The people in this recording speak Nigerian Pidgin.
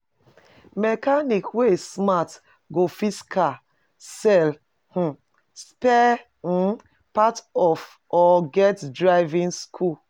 Mechanic wey smart go fix car, sell um spare um parts or get driving school